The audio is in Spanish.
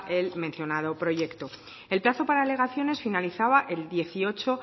el mencionado proyecto el plazo para alegaciones finalizaba el dieciocho